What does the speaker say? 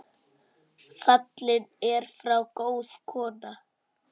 Fallin er frá góð kona.